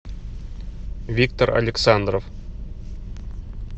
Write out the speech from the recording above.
виктор александров